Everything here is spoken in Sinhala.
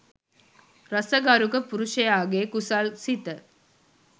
රස ගරුක පුරුෂයාගේ කුසල් සිත